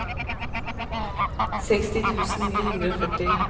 seksti tusen ni hundre og førti